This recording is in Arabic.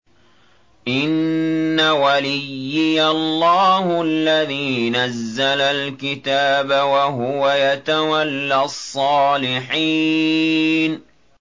إِنَّ وَلِيِّيَ اللَّهُ الَّذِي نَزَّلَ الْكِتَابَ ۖ وَهُوَ يَتَوَلَّى الصَّالِحِينَ